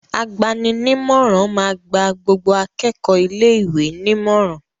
Agbani-nímọ̀ràn máa gba gbogbo akẹ́kọ̀ọ́ ilé-ìwé nímọ̀ràn.